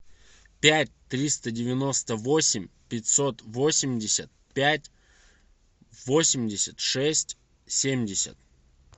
пять триста девяносто восемь пятьсот восемьдесят пять восемьдесят шесть семьдесят